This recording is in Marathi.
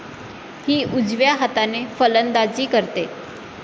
हि उजव्या हाताने फलंदाजी करते.